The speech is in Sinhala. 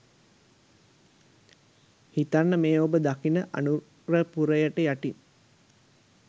හිතන්න මේ ඔබ දකින අනුරපුරයට යටින්